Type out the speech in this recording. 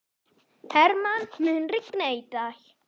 Hermann, mun rigna í dag?